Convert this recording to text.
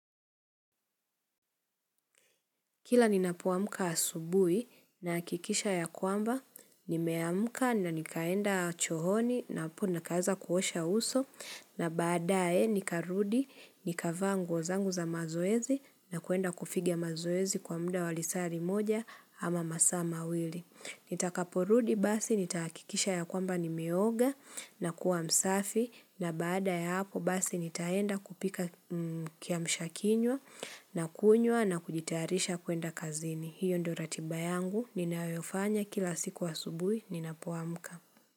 Kila ninapoamka asubuhi nahakikisha ya kwamba, nimeamka na nikaenda chooni na hapo nikaanza kuosha uso na baadae nikarudi, nikavaa nguo zangu za mazoezi na kuenda kufiga mazoezi kwa muda wa lisaa limoja ama masaa mawili. Nitakaporudi basi nitahakikisha ya kwamba nimeoga na kuwa msafi na baada ya hapo basi nitaenda kupika kiamshakinywa na kunywa na kujitarisha kuenda kazini. Hiyo ndo ratiba yangu ninayofanya kila siku asubuhi ninapoamka.